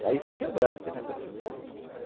E aí fui quebrando com o negócio dele, papai.